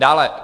Dále.